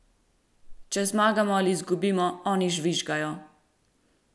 Če zmagamo ali izgubimo, oni žvižgajo!